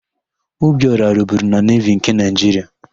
Obiora rụburu na Nevi nke Naịjiria.